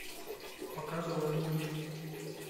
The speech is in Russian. показывай мульт